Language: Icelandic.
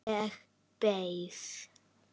Ég beið.